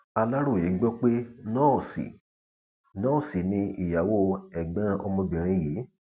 aláròye gbọ pé nọọsì nọọsì ni ìyàwó ẹgbọn ọmọbìnrin yìí